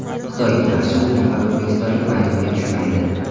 Xitoyga qarshi uch nafar o‘zbekistonlik maydonga tushmaydi.